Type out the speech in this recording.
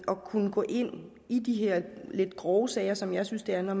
kunne gå ind i de her lidt grove sager som jeg synes det er når